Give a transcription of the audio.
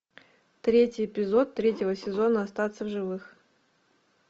третий эпизод третьего сезона остаться в живых